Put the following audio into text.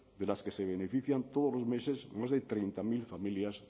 de las que se benefician todos los meses más de treinta mil familias